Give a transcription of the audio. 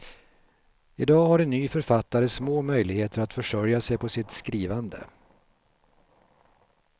I dag har en ny författare små möjligheter att försörja sig på sitt skrivande.